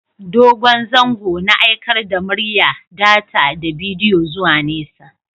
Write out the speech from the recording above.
Dogon zango na aikar da murya, data da bidiyo zuwa nesa.